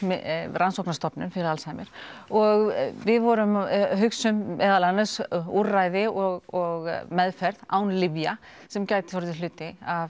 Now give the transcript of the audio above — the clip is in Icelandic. rannsóknarstofnun fyrir Alzheimer og við vorum að hugsa um meðal annars úrræði og meðferð án lyfja sem gætu orðið hluti af